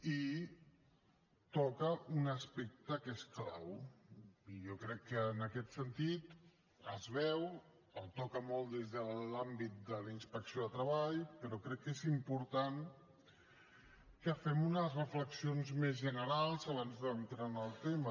i toca un aspecte que és clau i jo crec que en aquest sentit es veu el toca molt des de l’àmbit de la inspecció de treball però crec que és important que fem unes reflexions més generals abans d’entrar en el tema